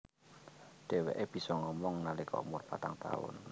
Dheweke bisa ngomong nalika umur patang taun